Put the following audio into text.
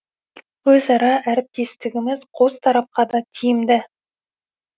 өзара әріптестігіміз қос тарапқа да тиімді